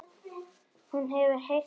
Hún hefur heyrt margar sögur.